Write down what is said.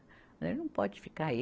Né. Não pode ficar aí.